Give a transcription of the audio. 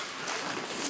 Yaxşı, yaxşı.